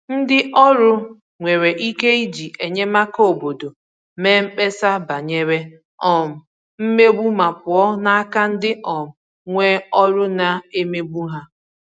Ndị ọrụ nwere ike iji enyemaka obodo mee mkpesa banyere um mmegbu ma pụọ n'aka ndị um nwe ọrụ na-emegbu ha.